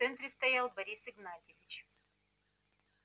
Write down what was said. в центре стоял борис игнатьевич